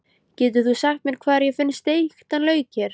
Getur þú sagt mér hvar ég finn steiktan lauk hér?